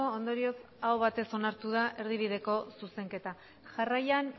ondorioz aho batez onartu da erdibideko zuzenketa jarraian